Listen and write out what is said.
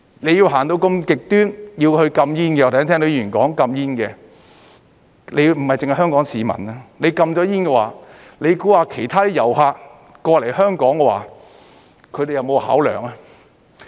你要走得如此極端，要去禁煙，我剛才聽到議員說要禁煙，不單是香港市民，如果禁了煙的話，你認為其他遊客來香港，他們會否有考量呢？